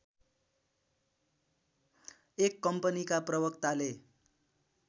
एक कम्पनीका प्रवक्ताले